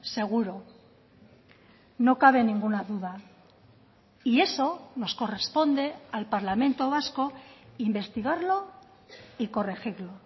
seguro no cabe ninguna duda y eso nos corresponde al parlamento vasco investigarlo y corregirlo